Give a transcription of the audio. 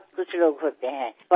वयाने मोठे तर अनेकजण असतात